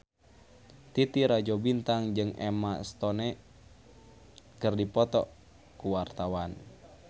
Titi Rajo Bintang jeung Emma Stone keur dipoto ku wartawan